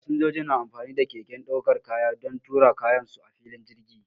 Fasinjoji na amfani da keken daukar kaya don tura kayan su a filin jirgi.